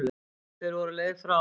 Þeir voru á leið frá